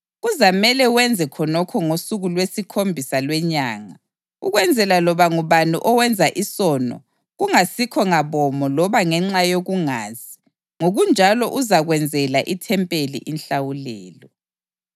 Kuzamele wenze khonokho ngosuku lwesikhombisa lwenyanga ukwenzela loba ngubani owenza isono kungasikho ngabomu loba ngenxa yokungazi; ngokunjalo uzakwenzela ithempeli inhlawulelo.